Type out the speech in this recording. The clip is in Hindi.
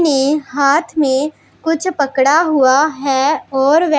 ने हाथ में कुछ पकड़ा हुआ हैं और व्या--